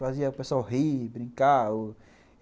Fazia o pessoal rir, brincar.